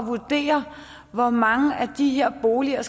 vurdere hvor mange af de her boliger